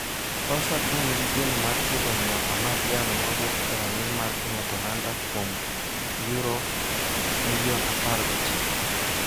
Solskjaer to nigi geno mar tieko ng'iewo Amad Diallowa mawuok e rang'iny mar piny Atalanta kuom £19m.